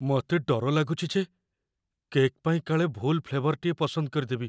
ମୋତେ ଡର ଲାଗୁଛି ଯେ କେକ୍ ପାଇଁ କାଳେ ଭୁଲ ଫ୍ଲେଭର୍‌ଟିଏ ପସନ୍ଦ କରିଦେବି!